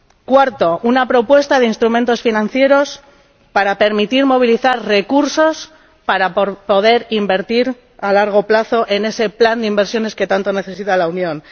Cuarta elaborar una propuesta de instrumentos financieros que permitan movilizar recursos para poder invertir a largo plazo en ese plan de inversiones que tanto necesita la Unión.